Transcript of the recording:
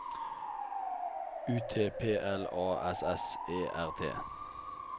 U T P L A S S E R T